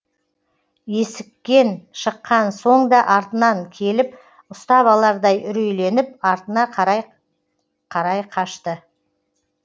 есіккен шыққан соң да артынан келіп ұстап алардай үрейленіп артына қарай қарай қашты